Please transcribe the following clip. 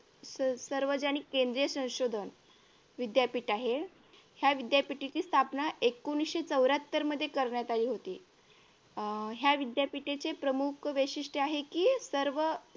सार्वजनिक केंद्रीय संशोधन विद्यापीठ आहे. या विद्यापीठाची स्थापना एकोणविशे चौऱ्याहत्तर मध्ये करण्यात आली होती. ह्या विध्यापीठेचे प्रमुख वैशिष्ट्य आहे कि सर्व